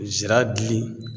Sira dili